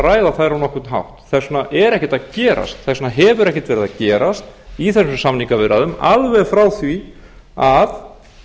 ræða þær á nokkurn hátt þess vegna er ekkert er að gerast þess vegna hefur ekkert verið að gerast í þessum samningaviðræðum alveg frá því að